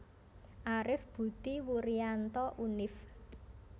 Arif Budi Wurianto Univ